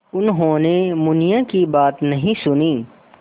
उन्होंने मुनिया की बात नहीं सुनी